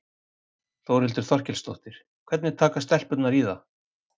Þórhildur Þorkelsdóttir: Hvernig taka stelpurnar í það?